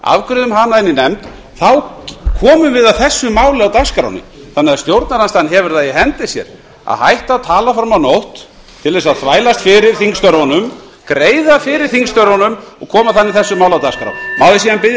afgreiðum hana inn í nefnd þá komum við að þessu máli í dagskránni þannig að stjórnarandstaðan hefur það í hendi sér að hætta að tala fram á nótt til að þvælast fyrir þingstörfunum greiða fyrir þingstörfunum og koma þannig þessu máli á dagskrá má ég síðan biðja menn um